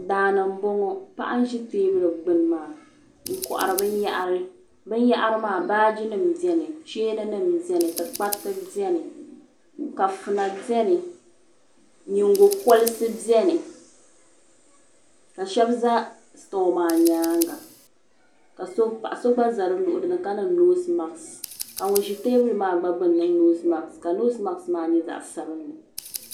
Daani n boŋɔ paɣa n ʒi teebuli gbini maa n kohari binyahari binyahiri maa baagi nima biɛni cheeni nima tikpariyi biɛni ka tima biɛni nyingokolisi biɛni ka Sheba za sutoɣu maa nyaanga ka paɣa so gba za di luɣuli ni ka niŋ noosi maasi ka ŋun ʒi teebuli maa gba gbinni gba niŋ noosi maasi ka noosi maasi maa nyɛ zaɣa sabinli.